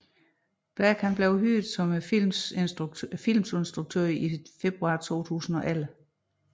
Black blev hyret som filmens instruktør i februar 2011